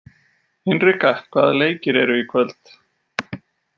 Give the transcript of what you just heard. Hinrikka, hvaða leikir eru í kvöld?